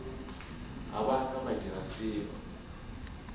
ga ba ka ba diraselo